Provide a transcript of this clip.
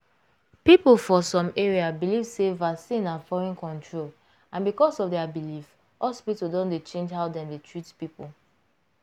people for some area believe sey vaccine na foreign control and because of their belief hospital don dey change how dem dey treat people.